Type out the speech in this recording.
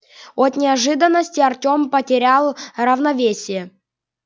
от неожиданности артём потерял равновесие